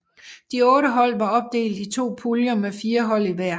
De otte hold var opdelt i to puljer med fire hold i hver